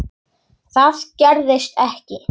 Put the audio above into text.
Það gerðist ekki.